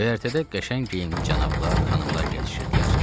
Göyərtədə qəşəng geyimli cənablar, xanımlar gəzişirdilər.